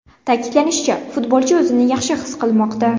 Ta’kidlanishicha, futbolchi o‘zini yaxshi his qilmoqda.